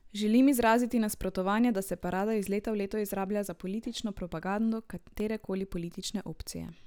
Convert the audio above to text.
Želim izraziti nasprotovanje, da se parada iz leta v leto izrablja za politično propagando katere koli politične opcije.